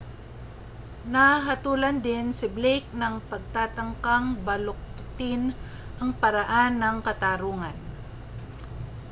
nahatulan din si blake ng pagtatangkang baluktutin ang paraan ng katarungan